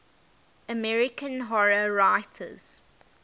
american horror writers